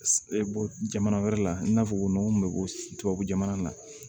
Jamana wɛrɛ la i n'a fɔ nɔgɔ mun be bɔ tubabu jamana na